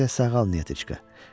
Tezliklə sağal, Neteçka.